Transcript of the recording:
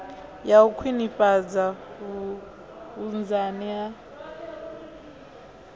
ya u khwinifhadza vhunzani ha